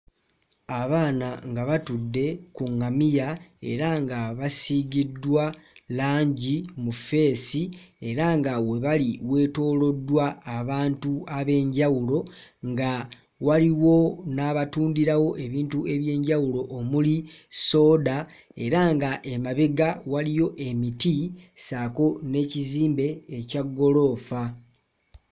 Abaana nga batudde ku ŋŋamiya era nga basiigiddwa langi mu ffeesi era nga awo webali weetooloddwa abantu ab'enjawulo nga waliwo n'abatundirawo ebintu eby'enjawulo omuli sooda era nga emabega waliyo emiti ssaako n'ekizimbe ekya ggoloofa.